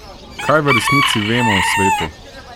Kaj v resnici vemo o svetu?